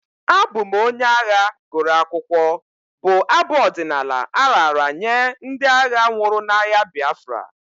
Abụ m onye agha gụrụ akwụkwọ'' bụ abụ ọdịnala a raara nye ndị agha nwụrụ n'agha Biafra.